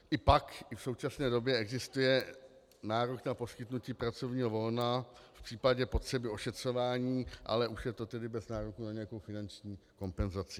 I pak i v současné době existuje nárok na poskytnutí pracovního volna v případě potřeby ošetřování, ale už je to tedy bez nároku na nějakou finanční kompenzaci.